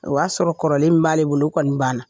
O y'a sɔrɔ kɔrɔlen min b'ale bolo o kɔni banna